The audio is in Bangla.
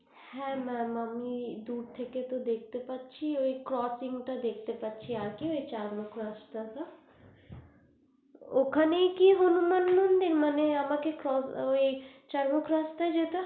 হ্যা mam দূর থেকে দেখতে পারছি ওই coaching দেখতে পারছি আর কি চার মুখ রাস্তা টা ওখানেই কি হনুমান মন্দির মানে আমাকে কি চার মুখ রাস্তা টা যেতে হবে